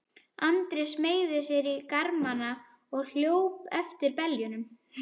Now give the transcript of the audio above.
Andri smeygði sér í garmana og hljóp eftir beljunum.